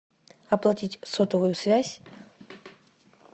оплатить сотовую связь